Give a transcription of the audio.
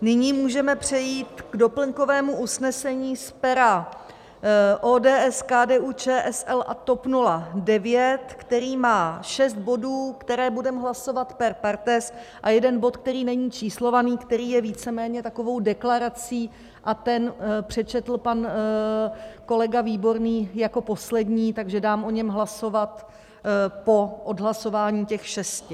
Nyní můžeme přejít k doplňkovému usnesení z pera ODS, KDU-ČSL a TOP 09, které má šest bodů, které budeme hlasovat per partes, a jeden bod, který není číslovaný, který je víceméně takovou deklarací, a ten přečetl pan kolega Výborný jako poslední, takže dám o něm hlasovat po odhlasování těch šesti.